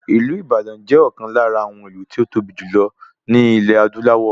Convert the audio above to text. Ìlú Ìbàdàn jẹ́ ọ̀kan lára àwọn ìlú tí ó tóbi jù lọ ní ilẹ̀ adúláwọ̀